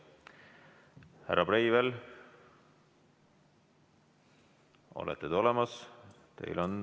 Härra Breivel, olete te olemas?